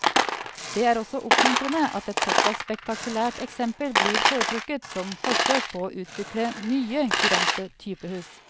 Det er også oppmuntrende at et såpass spektakulært eksempel blir foretrukket som forsøk på å utvikle nye, kurante typehus.